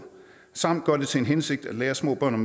samt gør det til en hensigt at lære små børn